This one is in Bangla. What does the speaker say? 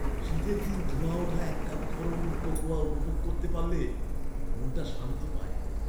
শীতের দিন ধোঁয়া ওঠা এক কাপ গরম কোকোয়া উপভোগ করতে পারলে মনটা শান্তি পায়।